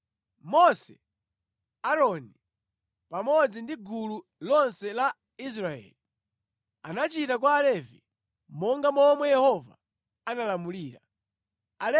Mose, Aaroni pamodzi ndi gulu lonse la Israeli anachita kwa Alevi monga momwe Yehova analamulira Mose.